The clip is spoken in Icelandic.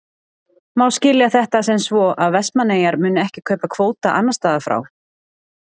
Má skilja þetta sem svo að Vestmannaeyjar muni ekki kaupa kvóta annars staðar frá?